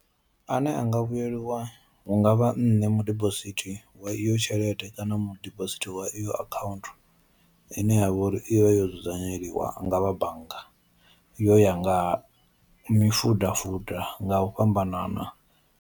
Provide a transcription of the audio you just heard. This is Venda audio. Ane anga vhuyeliwa hungavha nṋe mu dibosithi wa iyo tshelede kana mu dibosithi wa iyo account ine yavha uri ivha yo dzudzanyeliwa ngavha bannga yo ya nga mifuda fuda nga u fhambanana.